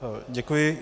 Děkuji.